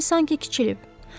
Bədəni sanki kiçilib.